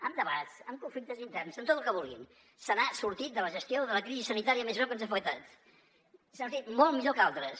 amb debats amb conflictes interns amb tot el que vulguin se n’ha sortit de la gestió de la crisi sanitària més greu que ens ha afectat se n’ha sortit molt millor que altres